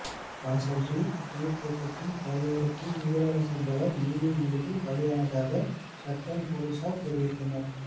காசல்ரீ நீர்தேக்கத்தின் கரையோரத்தில் நீராட சென்றவர் நீரில் மூழ்கி பலியானதாக ஹட்டன் பொலிஸார் தெரிவித்தனர்